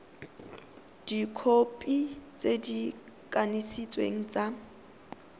dikhopi tse di kanisitsweng tsa